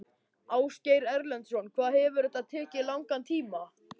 Ásgeir Erlendsson: Hvað hefur þetta tekið langan tíma?